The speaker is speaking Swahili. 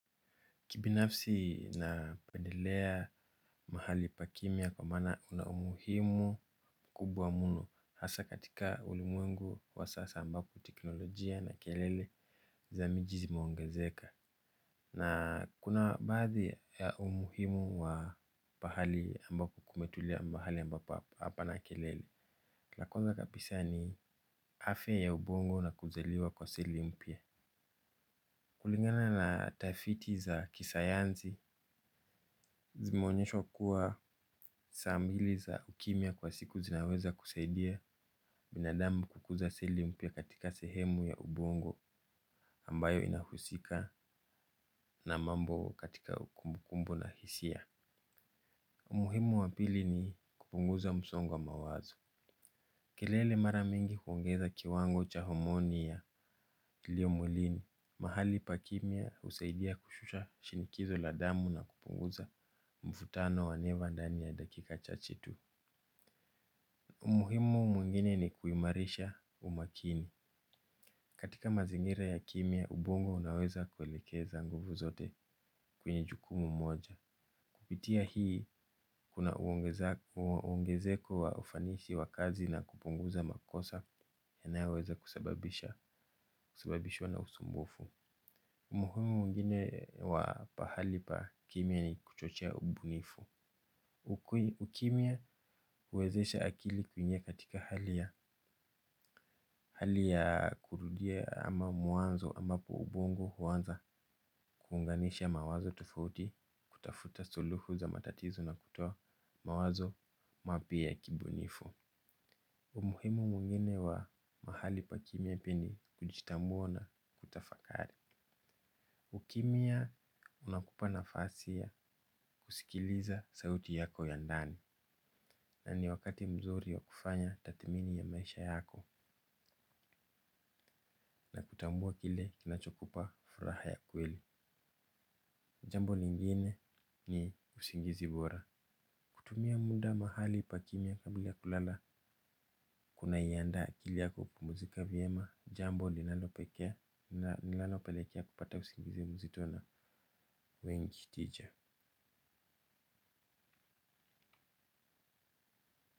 Kibinafsi napendelea mahali pa kimia kwa maana kuna umuhimu mkubwa mno. Hasa katika ulimwengu wa sasa ambapo teknolojia na kelele za miji zimeongezeka. Na kuna baadhi ya umuhimu wa pahali ambapo kumetulia, mahali ambapo hapana kelele. La kwanza kabisa ni afya ya ubongo na kuzaliwa kwa seli mpya. Kulingana na tafiti za kisayansi zimeonyeshwa kuwa saa mbili za ukimia kwa siku zinaweza kusaidia binadamu kukuza seli mpya katika sehemu ya ubongo ambayo inahusika na mambo katika kumbu kumbu na hisia. Umuhimu wa pili ni kupunguza msongo wa mawazo. Kelele mara mingi huongeza kiwango cha homoni ya iliyo mwilini. Mahali pa kimia husaidia kushusha shinikizo la damu na kupunguza mvutano wa neva ndani ya dakika chache tu. Umuhimu mwingine ni kuimarisha umakini. Katika mazingira ya kimia ubongo unaweza kuelekeza nguvu zote kwenye jukumu moja. Kupitia hii kuna uongezeko wa ufanisi wa kazi na kupunguza makosa yanayo weza kusababisha kusababishwa na usumbufu. Umuhimu mwingine wa pahali pa kimia ni kuchochea ubunifu ukumia huwezesha akili kuingia katika hali ya kurudia ama mwamzo ama kwa ubongo kuanza kuunganisha mawazo tofauti kutafuta suluhu za matatizo na kutoa mawazo mapya ya kibunifu. Umuhimu mwingine wa mahali pa kimia pia ni kujitambua na kutafakari. Ukimia unakupa nafasi ya kusikiliza sauti yako ya ndani. Na ni wakati mzuri wa kufanya tathmini ya maisha yako. Na kutambua kile kinachokupa furaha ya kweli. Jambo lingine ni usingizi bora. Kutumia muda mahali pa kimia kabla ya kulala. Kuna iandaa akili yako kupimzika vyema. Jambo linalopekea nilalopelekea kupata usingizi mzito na wengi tija.